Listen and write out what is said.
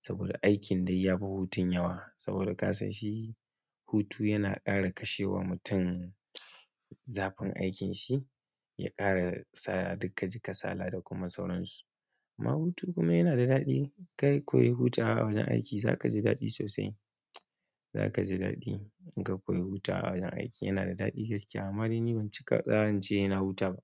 saboda aikin dai yafi hutun yawa saboda kasan shi hutu yana ƙara kashe wa mutum zafin aikin shi ya ƙara saka duk ka ji kasala da kuma sauransu. Amma hutu dai yana da daɗi, kawai innka huta a wajen aiki zaka ji daɗi sosai za ka ji daɗi in ka koyi hutu a wajen aiki, yana da daɗi gaskiya. Amma dai ni ban cika zan ce sai na huta ba.